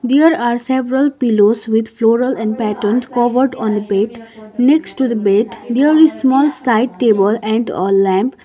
there are several pillows with floral and patterns covered on a bed next to the bed there is small side table and a lamp.